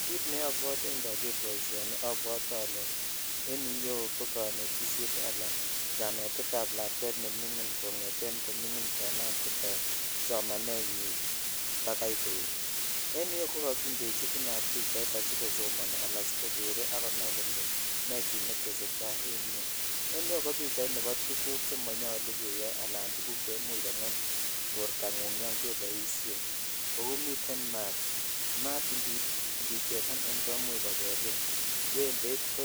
Kit ne abwotii ndoger boisioni abwote olee en iyeu ko konetisiet anan kanetetab lakwet neming'in kong'eten ko ming'in konam somanenyin bakai koet en iyeu ko kokindechi inat pichait asikosomoni ala asikokere akonai kole nee kit netese tai en yu, en iyeyu ko pichaitab tuguk chemonyolu keyai alan tuguk cheimuch kong'em bortang'ung yongeboisien, kou miten mat, mat indichesanen komuch kobelin, wembeit ko